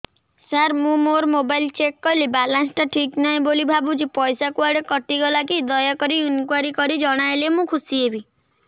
ସାର ମୁଁ ମୋର mobile check କଲି ବାଲାନ୍ସ ଟା ଠିକ ନାହିଁ ବୋଲି ଭାବୁଛି ପଇସା କୁଆଡେ କଟି ଗଲା କି ଦୟାକରି ଇନକ୍ୱାରି କରି ଜଣାଇଲେ ମୁଁ ଖୁସି ହେବି